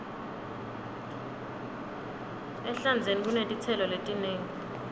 ehlandzeni kunetitselo letinengi